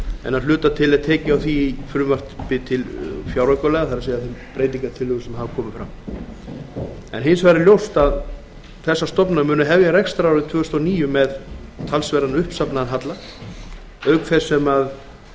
en að hluta til er tekið á því í fjáraukalögum tvö þúsund og átta hins vegar munu þessar stofnanir hefja rekstrarárið tvö þúsund og níu með talsverðan uppsafnaðan halla auk